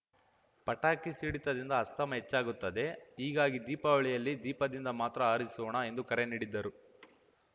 ಪಟಾಕಿ ಸಿಡಿತದಿಂದ ಅಸ್ತಮಾ ಹೆಚ್ಚಾಗುತ್ತದೆ ಹೀಗಾಗಿ ದೀಪಾವಳಿಯಲ್ಲಿ ದೀಪದಿಂದ ಮಾತ್ರ ಆರಿಸೋಣ ಎಂದು ಕರೆ ನೀಡಿದ್ದರು